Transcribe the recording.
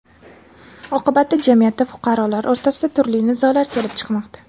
Oqibatda jamiyatda fuqarolar o‘rtasida turli nizolar kelib chiqmoqda.